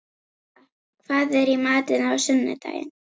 Lalíla, hvað er í matinn á sunnudaginn?